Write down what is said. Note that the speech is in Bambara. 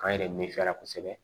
K'an yɛrɛ nifiya la kosɛbɛ